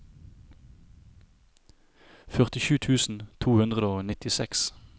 førtisju tusen to hundre og nittiseks